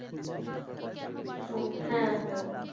সবজি